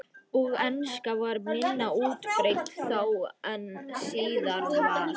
Og enska var minna útbreidd þá en síðar varð.